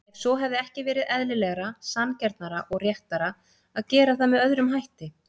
Ef svo, hefði ekki verið eðlilegra, sanngjarnara og réttara að gera það með öðrum hætti?